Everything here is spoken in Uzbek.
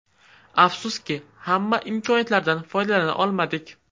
Afsuski, hamma imkoniyatlardan foydalana olmadik.